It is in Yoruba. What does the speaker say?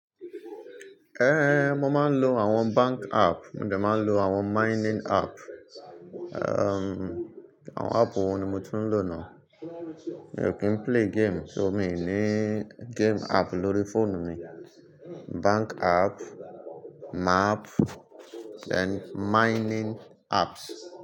Ehn, mo máa ń lo àwọn bank app, mo dẹ̀ máa ń lo àwọn mining app, erm, àwọn app wọ̀ní mo tu ń lò ná. Èmi ò kí ń play game, so mi ní game app lórí fóònù mi. Bank app, map, then mining apps.